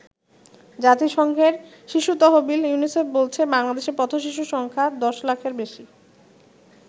জাতিসংঘের শিশু তহবিল ইউনিসেফ বলছে, বাংলাদেশে পথ-শিশুর সংখ্যা দশলাখের বেশি।